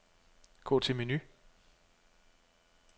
Gå til menu.